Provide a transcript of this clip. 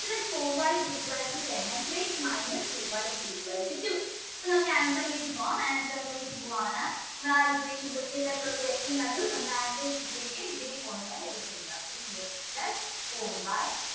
plus four y is equal to minus two y is equal to two അപ്പൊ നമ്മൾക്ക് answer ലേക്ക് പോകാം answer ലേക്ക് പോവാണ് നിങ്ങൾ ആ equation question paper ൽ question കണ്ടു നമ്മടെ answer sheet ലേക്ക് ഇതേപോലെ തന്നെ എടുത്തു എഴുതുക three x plus four y